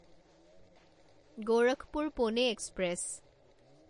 Gorakhpur Pune express